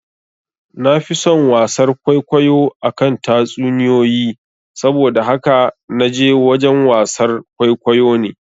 Nafi son wasar kwaikwayo akan tatsuniyoyi, saboda haka naje wajen wasar kwaikwayo ne